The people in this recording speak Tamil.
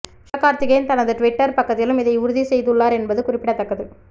சிவகார்த்திகேயன் தனது டிவிட்டர் பக்கத்திலும் இதை உறுதி செய்துள்ளார் என்பது குறிப்பிடத்தக்கது